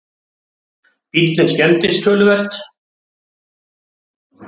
Bíllinn skemmdist töluvert